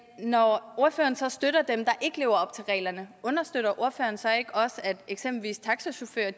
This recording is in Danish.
når ordføreren så støtter dem der ikke lever op til reglerne understøtter ordføreren så ikke også at eksempelvis taxachauffører